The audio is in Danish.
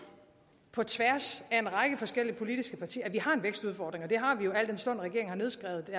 på tværs af en række forskellige politiske partier at vi har en vækstudfordring og det har vi jo al den stund at regeringen har nedskrevet